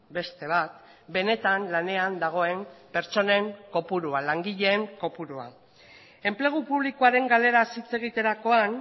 beste bat benetan lanean dagoen pertsonen kopurua langileen kopurua enplegu publikoaren galeraz hitz egiterakoan